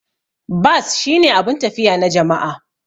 Bas shine abun tafiya na jama'a.